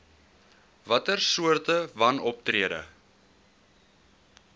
watter soorte wanoptrede